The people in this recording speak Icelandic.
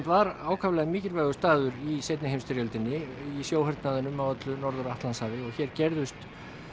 var ákaflega mikilvægur staður í seinni heimsstyrjöldinni í á öllu Norður Atlantshafi og hér gerðust